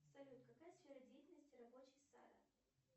салют какая сфера деятельности рабочий сада